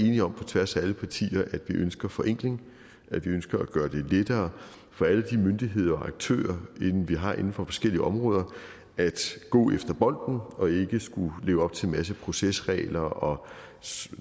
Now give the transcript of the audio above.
enige om på tværs af alle partier at vi ønsker forenkling at vi ønsker at gøre det lettere for alle de myndigheder og aktører vi har inden for forskellige områder at gå efter bolden og ikke skulle leve op til en masse procesregler og